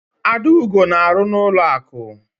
Adaugo na-arụ n'ụlọakụ.